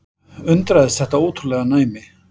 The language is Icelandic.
Undraðist þetta ótrúlega næmi.